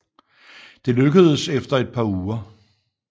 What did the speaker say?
Det lykkedes efter et par uger